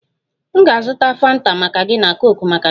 M ga-azụta Fanta maka gị na coke maka David